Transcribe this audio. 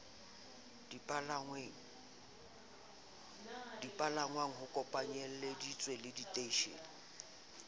dipalangwang ho kopanyelleditswe le diteishene